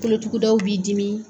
Kolotugudaw b'i dimi